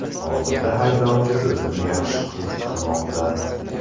Hozirda haydovchi o‘zini yaxshi his qilmoqda.